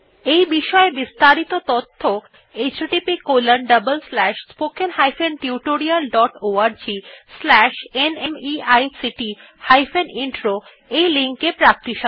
এই বিষয় বিস্তারিত তথ্য httpspoken tutorialorgNMEICT Intro ei link এ প্রাপ্তিসাধ্য